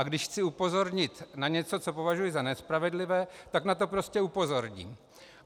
A když chci upozornit na něco, co považuji za nespravedlivé, tak na to prostě upozorním.